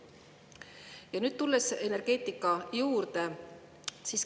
Ja nüüd tulen energeetika juurde.